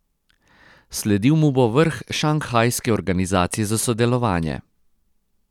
Sledil mu bo vrh Šanghajske organizacije za sodelovanje.